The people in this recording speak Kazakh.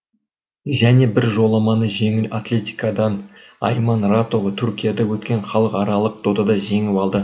және бір жоламаны жеңіл атлетикадан айман ратова түркияда өткен халықаралық додада жеңіп алды